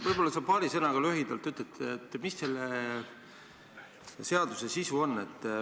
Võib-olla sa paari sõnaga ütled, mis selle seaduse sisu on.